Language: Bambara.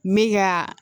Me ka